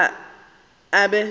yena o tla be a